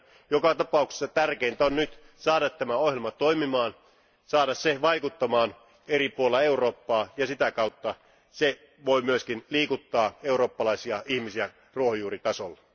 Joka tapauksessa tärkeintä on nyt saada tämä ohjelma toimimaan, saada se vaikuttamaan eri puolilla Eurooppaa ja sitä kautta se voi myös liikuttaa eurooppalaisia ihmisiä ruohonjuuritasolla.